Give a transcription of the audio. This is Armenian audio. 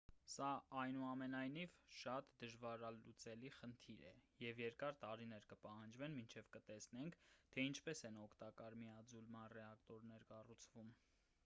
սա այնուամենայնիվ շատ դժվարլուծելի խնդիր է և երկար տարիներ կպահանջվեն մինչև կտեսնենք թե ինչպես են օգտակար միաձուլման ռեակտորներ կառուցվում